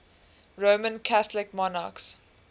roman catholic monarchs